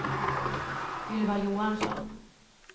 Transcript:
Ylva Johansson